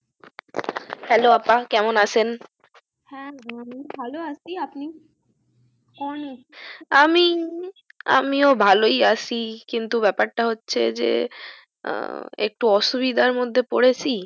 hello আপা কেমন আছেন? হ্যা হুম ভালো আছি আপনি? আমি আমিও ভালো আছি কিন্তু ব্যাপার টা হচ্ছে যে আহ একটু অসুবিধার মধ্যে পড়েছি